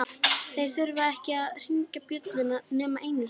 Þeir þurftu ekki að hringja bjöllunni nema einu sinni.